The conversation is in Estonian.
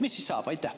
Mis siis saab?